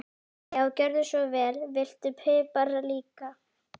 Já, gjörðu svo vel. Viltu pipar líka?